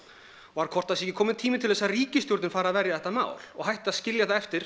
var hvort það sé ekki kominn tími til þess að ríkisstjórnin fari að verja þetta mál og hætti að skilja það eftir